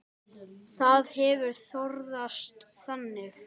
Það hefur þróast þannig.